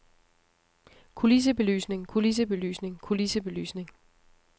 kulissebelysning kulissebelysning kulissebelysning